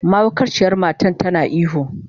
Mahaukaciyar matar tana ihu.